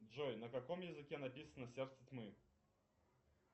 джой на каком языке написано сердце тьмы